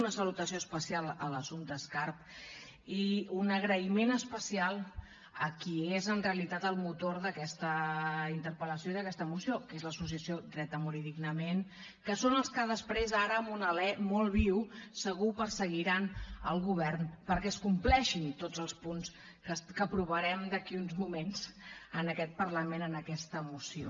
una salutació especial a l’assumpta escarp i un agraïment especial a qui és en realitat el motor d’aquesta interpel·lació i d’aquesta moció que és l’associació dret a morir dignament que són els que després ara amb un alè molt viu segur perseguiran el govern perquè es compleixin tots els punts que aprovarem d’aquí uns moments en aquest parlament en aquesta moció